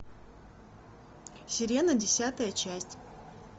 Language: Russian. сирена десятая часть